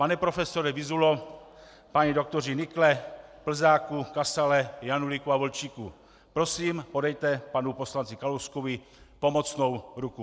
Pane profesore Vyzulo, páni doktoři Nykle, Plzáku, Kasale, Janulíku a Volčíku, prosím podejte panu poslanci Kalouskovi pomocnou ruku.